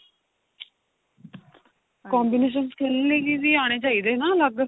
combination skin ਲਈ ਵੀ ਆਣੇ ਚਾਹੀਦੇ ਹਨਾ ਅਲੱਗ